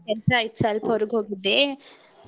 ಕೆಲ್ಸ ಇತ್ತ್ ಸ್ವಲ್ಪ ಹೊರಗ್ ಹೋಗಿದ್ದೆ.